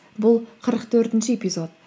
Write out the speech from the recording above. бұл қырық төртінші эпизод